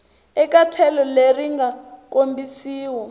eka tlhelo leri nga kombisiwa